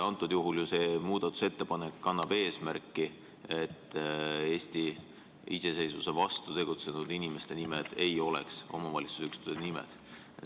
Antud juhul see muudatusettepanek kannab eesmärki, et Eesti iseseisvuse vastu tegutsenud inimeste nimed ei oleks omavalitsusüksuste nimed.